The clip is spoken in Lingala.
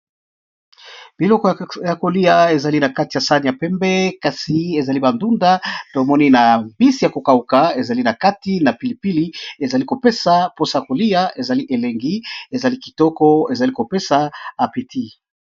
Biloko ya kolya eza nakati ya saani ya pembe ezali ba ndunda mbisi yako kauka pilipili ezali kopesa posa ya kolya na appétit.